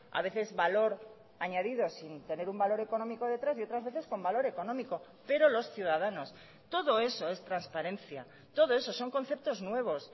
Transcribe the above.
a veces valor añadido sin tener un valor económico detrás y otras veces con valor económico pero los ciudadanos todo eso es transparencia todo eso son conceptos nuevos